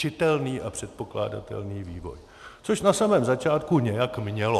Čitelný a předpokládatelný vývoj, což na samém začátku nějak mělo.